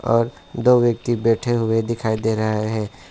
और दो व्यक्ति बैठे हुए दिखाई दे रहा है।